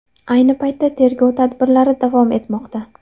Ayni paytda tergov tadbirlari davom etmoqda.